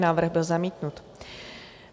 Návrh byl zamítnut.